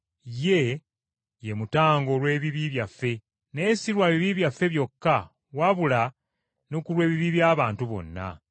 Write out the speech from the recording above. Ye, ye mutango olw’ebibi byaffe, naye si lwa bibi byaffe byokka, wabula ne ku lw’ebibi by’abantu bonna.